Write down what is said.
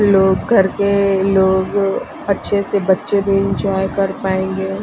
लोग करके लोग अच्छे सेबच्चे भी एंजॉय कर पाएंगे।